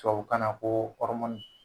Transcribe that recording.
Tubabukan na ko ɔrimɔni